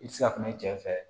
I tɛ se ka kuma i cɛ fɛ